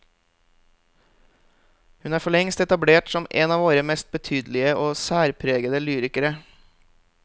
Hun er forlengst etablert som en av våre mest betydelige og særpregede lyrikere.